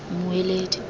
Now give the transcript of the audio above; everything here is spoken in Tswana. mmueledi